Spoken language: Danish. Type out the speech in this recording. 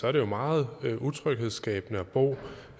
er det jo meget utryghedsskabende at bo